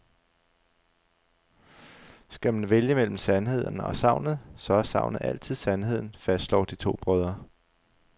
Skal man vælge mellem sandheden og sagnet, så er sagnet altid sandheden, fastslår de to brødre.